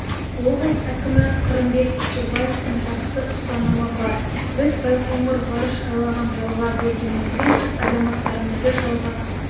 облыс әкімі қырымбек көшербаевтың жақсы ұстанымы бар біз байқоңыр ғарыш айлағын жалға бергенімізбен азаматтарымызды жалға